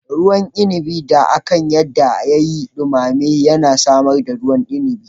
Ruwan inabi da aka yarda ya yi dumame yana samar da ruwan inabi